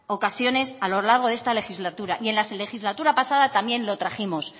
ocasiones a lo largo de esta legislatura y en la legislatura pasada también lo trajimos